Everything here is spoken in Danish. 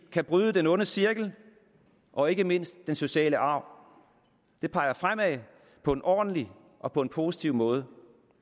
kan bryde den onde cirkel og ikke mindst den sociale arv det peger fremad på en ordentlig og på en positiv måde